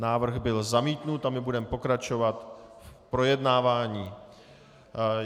Návrh byl zamítnut a my budeme pokračovat v projednávání.